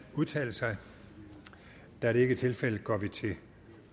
udtale sig da det ikke er tilfældet går vi til